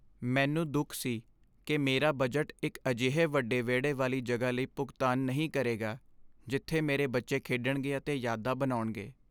ਮੈਨੂੰ ਦੁੱਖ ਸੀ ਕਿ ਮੇਰਾ ਬਜਟ ਇੱਕ ਅਜਿਹੇ ਵੱਡੇ ਵਿਹੜੇ ਵਾਲੀ ਜਗ੍ਹਾ ਲਈ ਭੁਗਤਾਨ ਨਹੀਂ ਕਰੇਗਾ ਜਿੱਥੇ ਮੇਰੇ ਬੱਚੇ ਖੇਡਣਗੇ ਅਤੇ ਯਾਦਾਂ ਬਣਾਉਣਗੇ।